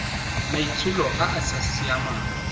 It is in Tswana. maitsholo a a sa siamang